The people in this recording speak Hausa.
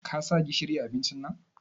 Ka sa gishiri a abincin?